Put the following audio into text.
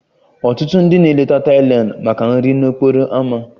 Ọtụtụ ndị na-eleta Thailand maka nri n'okporo ámá